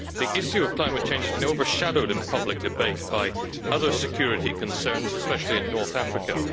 The issue of climate change has been overshadowed in public debate by other security concerns, especially in North Africa.